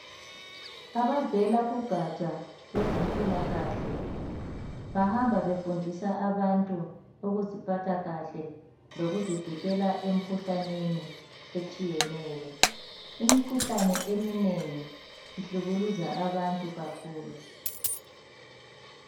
Abavela kugatsha lwezempilakahle .Bahamba befundisa abantu ukuziphatha kahle lokuzivikela emkhuhlaneni etshiyeneyo Imikhuhlane eminengi ihlukuluza abantu kakhulu .